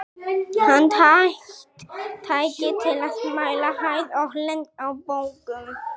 Handhægt tæki til að mæla hæð og lengd á bókum.